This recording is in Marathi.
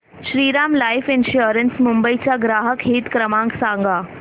श्रीराम लाइफ इन्शुरंस मुंबई चा ग्राहक हित क्रमांक सांगा